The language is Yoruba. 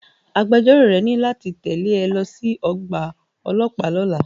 Agbẹjọ́rò rẹ ní láti tẹ̀lé ẹ lọ sí ọgbà ọlọ́pàá lọ́la.